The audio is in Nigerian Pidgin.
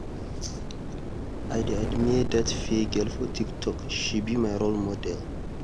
I dey admire dat fair girl for TikTok, she be my role model.